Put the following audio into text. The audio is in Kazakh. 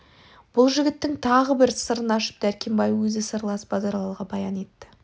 бұл жігіттің тағы бір сырын ашып дәркембай өзі сырлас базаралыға баян етті